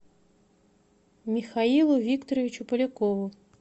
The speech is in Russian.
михаилу викторовичу полякову